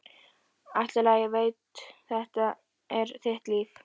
Allt í lagi, ég veit, þetta er þitt líf.